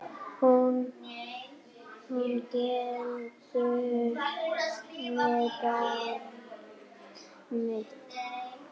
Hún gengur með barn mitt.